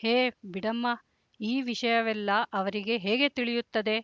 ಹೇ ಬಿಡಮ್ಮ ಈ ವಿಷಯವೆಲ್ಲ ಅವರಿಗೆ ಹೇಗೆ ತಿಳಿಯುತ್ತದೆ